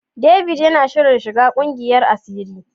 David yana shirin shiga kungiyar asiri.